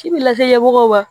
Ci bɛ lase ɲɛmɔgɔw ma